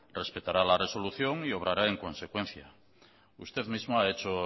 respetará la resolución y obrará en consecuencia usted mismo ha hecho